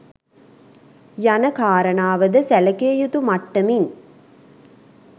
යන කාරණාවද සැලකියයුතු මට්ටමින්